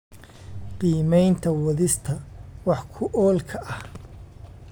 Qiimaynta wadista wax ku oolka ah